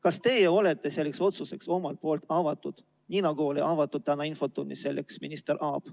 Kas teie olete selleks otsuseks avatud, nii nagu oli täna infotunnis selleks avatud minister Aab?